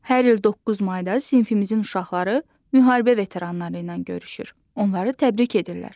Hər il 9 mayda sinfimizin uşaqları müharibə veteranları ilə görüşür, onları təbrik edirlər.